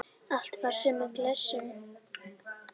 Allt fari í sömu klessuna.